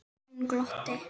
Hún glotti.